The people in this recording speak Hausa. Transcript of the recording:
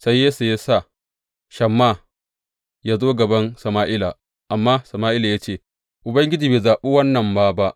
Sai Yesse ya sa Shamma yă zo gaban Sama’ila, amma Sama’ila ya ce, Ubangiji bai zaɓi wannan ma ba.